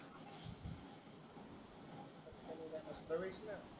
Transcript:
हो